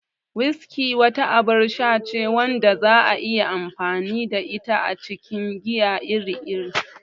Whiskey wata abar sha ce wadda za'a iya amfani da ita a cikin giya iri-iri.